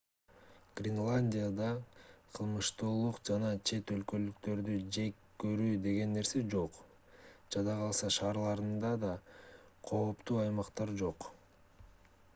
гренландияда кылмыштуулук жана чет өлкөлүктөрдү жек көрүү деген нерсе жок жада калса шаарларында да кооптуу аймактар жок